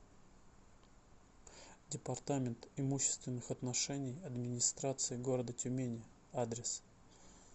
департамент имущественных отношений администрации г тюмени адрес